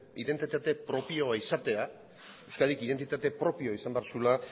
identitate propioa izatea euskadik identitate propioa izan behar zuela